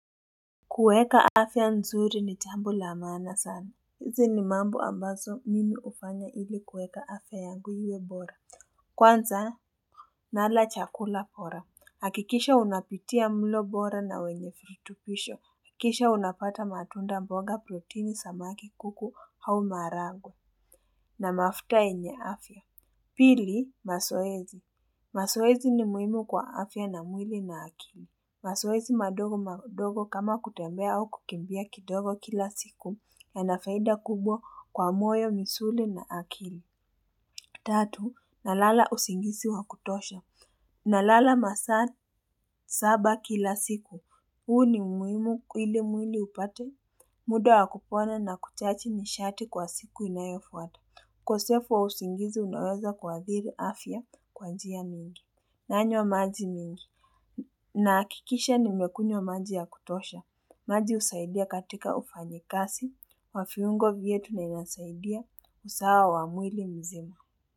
Kuweka afya nzuri ni jambo la maana sana. Hizi ni mambo ambazo mimi hufanya ili kuweka afya yangu iwe bora. Kwanza nala chakula bora hakikisha unapitia mlo bora na wenye virutubisho kisha unapata matunda mboga proteini samaki kuku au maharagwe. Na mafuta yenye afya. Pili mazoezi mazoezi ni muhimu kwa afya na mwili na akili. Mazoezi madogo madogo kama kutembea au kukimbia kidogo kila siku yana faida kubwa kwa moyo misuli na akili. Tatu nalala usingizi wa kutosha. Nalala masaa saba kila siku. Huu ni muhimu ili mwili upate muda wa kupona na kuchaji nishati kwa siku inayofuata ukosefu wa usingizi unaweza kuadhiri afya kwa njia mingi. Nanywa maji mingi. Nahakikisha nimekunywa maji ya kutosha, maji husaidia katika ufanyikazi, wa viungo vyetu na inasaidia usawa wa mwili mzima.